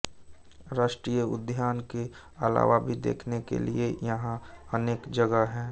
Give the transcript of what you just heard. राष्ट्रीय उद्यान के अलावा भी देखने के लिए यहाँ अनेक जगह हैं